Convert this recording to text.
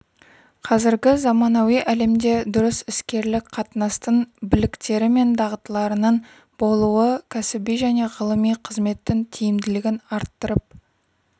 қазіргі заманауи әлемде дұрыс іскерлік қатынастың біліктері мен дағдыларының болуы кәсіби және ғылыми қызметтің тиімділігін арттырып